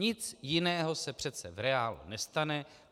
Nic jiného se přece v reálu nestane.